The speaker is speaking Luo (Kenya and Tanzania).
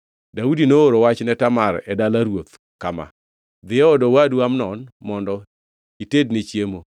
Daudi nooro wach ne Tamar e dala ruoth kama: “Dhi e od owadu Amnon mondo itedne chiemo.”